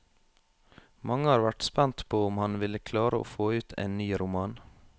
Mange har vært spent på om han ville klare å få ut en ny roman.